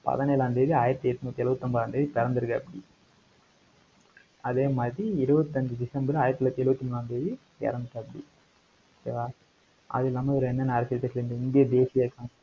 பதினேழாம் தேதி, ஆயிரத்தி எட்நூத்தி எழுபத்தி ஒன்பதாம் தேதி, பிறந்திருக்காப்பிடி. அதே மாதிரி, இருபத்தஞ்சு டிசம்பர் ஆயிரத்து தொள்ளாயிரத்து எழுபத்து மூணாம் தேதி, இறந்துட்டாப்படி. okay வா? அது இல்லாம, இவரு என்னென்ன அரசியல் கட்சியில இந்த இந்திய தேசிய,